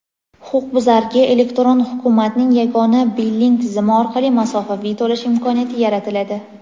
huquqbuzarga "Elektron hukumat" ning yagona billing tizimi orqali masofaviy to‘lash imkoniyati yaratiladi.